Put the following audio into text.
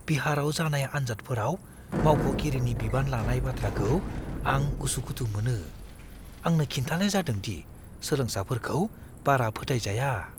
बिहाराव जानाय आन्जादफोराव मावख'गिरिनि बिबान लानाय बाथ्राखौ आं उसुखुथु मोनो। आंनो खिन्थानाय जादों दि सोलोंसाफोरखौ बारा फोथायजाया!